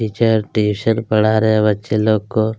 teacher tuition पढ़ा रहै हैं बच्चे लोग को--